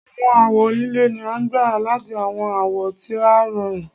Àwọn awọ líle ni a gbà láti àwọn awọ tí ó rọrùn